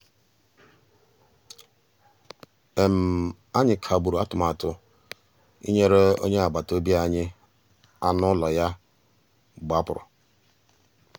ànyị́ kàgbùrụ́ àtụ̀màtụ́ ìnyélè ónyé àgbàtà òbí ànyị́ ànú ụ́lọ́ yá gbàpùrụ́.